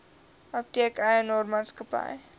apteek eienaar maatskappy